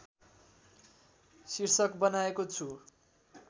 शीर्षक बनाएको छु